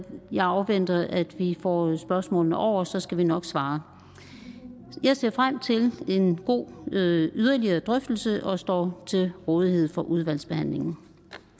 jeg afventer at vi får spørgsmålene over så skal vi nok svare jeg ser frem til en god yderligere drøftelse og står til rådighed for udvalgsbehandlingen